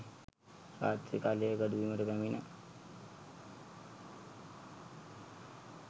රාත්‍රී කාලයේ ගොඩබිමට පැමිණ